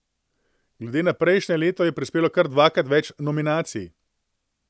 Glede na prejšnje leto, je prispelo kar dvakrat več nominacij.